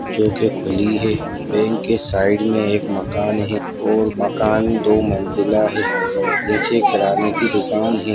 जो की खुली है। बैंक के साइड मे एक मकान है और मकान दो मंज़िला है। नीचे किराने की दुकान है।